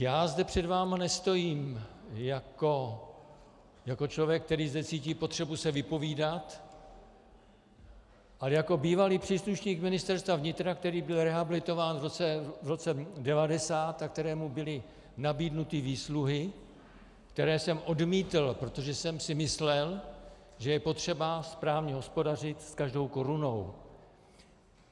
Já zde před vámi nestojím jako člověk, který zde cítí potřebu se vypovídat, ale jako bývalý příslušník Ministerstva vnitra, který byl rehabilitován v roce 1990 a kterému byly nabídnuty výsluhy, které jsem odmítl, protože jsem si myslel, že je potřeba správně hospodařit s každou korunou.